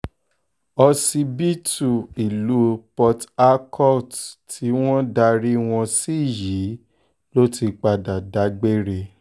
òsibítù ìlú port harcourt tí wọ́n darí wọn sí yìí ló ti padà dágbére